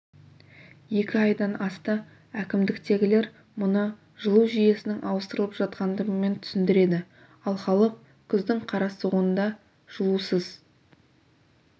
екі айдан асты әкімдіктегілер мұны жылу жүйесінің ауыстырылып жатқандығымен түсіндіреді ал халық күздің қара суығында жылусыз